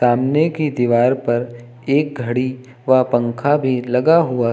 सामने की दीवार पर एक घड़ी व पंखा भी लगा हुआ है।